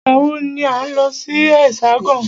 Ìgbà wọ ni à ń lọ sí Hexagon?